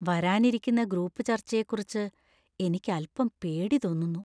വരാനിരിക്കുന്ന ഗ്രൂപ്പ് ചർച്ചയെക്കുറിച്ച് എനിക്ക് അൽപ്പം പേടി തോന്നുന്നു.